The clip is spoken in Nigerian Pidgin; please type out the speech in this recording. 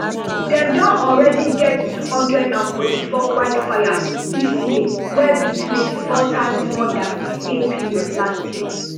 dem don already get two hundred and forty-four wildfires dis year wey be twenty-four times more dan di same period last year